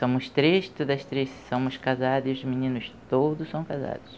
Somos três, todas três somos casadas e os meninos todos são casados.